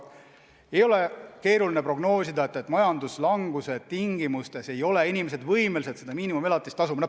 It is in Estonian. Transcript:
Ei ole keeruline prognoosida, et majanduslanguse tingimustes ei ole inimesed võimelised miinimumelatist tasuma.